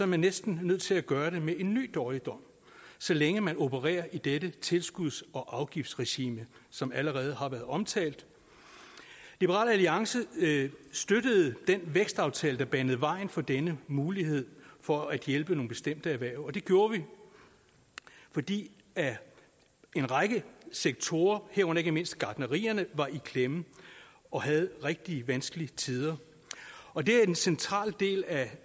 man næsten nødt til at gøre det med en ny dårligdom så længe man opererer i dette tilskuds og afgiftsregime som allerede har været omtalt liberal alliance støttede den vækstaftale der banede vejen for denne mulighed for at hjælpe nogle bestemte erhverv og det gjorde vi fordi en række sektorer herunder ikke mindst gartnerierne var i klemme og havde rigtig vanskelige tider og det er den centrale del af